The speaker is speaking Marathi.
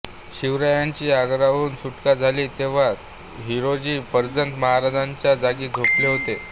शिवरायांची आग्र्याहून सुटका झाली तेव्हा हिरोजी फर्जंद महाराजांच्या जागी झोपले होते